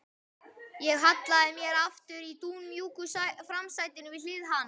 Ég hallaði mér aftur í dúnmjúku framsætinu við hlið hans.